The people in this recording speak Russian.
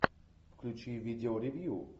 включи видео ревью